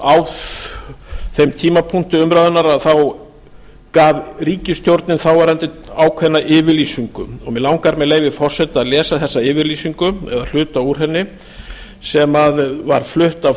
á þeim tímapunkti umræðunnar þá gaf ríkisstjórnin þáverandi ákveðna yfirlýsingu mig langar með leyfi forseta að lesa þessa yfirlýsingu eða hluta úr henni sem var flutt af